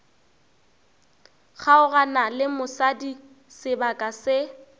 kgaogana le mosadi sebaka se